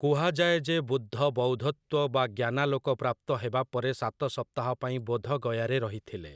କୁହାଯାଏ ଯେ ବୁଦ୍ଧ ବୌଦ୍ଧତ୍ଵ ବା ଜ୍ଞାନାଲୋକ ପ୍ରାପ୍ତ ହେବାପରେ ସାତ ସପ୍ତାହ ପାଇଁ ବୋଧଗୟାରେ ରହିଥିଲେ ।